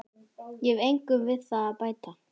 Ég hef engu við það að bæta.